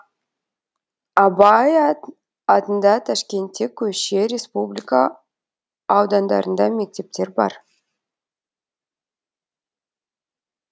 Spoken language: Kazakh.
абай атында ташкентте көше республика аудандарында мектептер бар